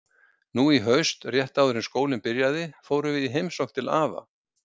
Nú í haust, rétt áður en skólinn byrjaði, fórum við í heimsókn til afa.